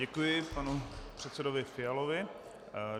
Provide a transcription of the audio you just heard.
Děkuji panu předsedovi Fialovi.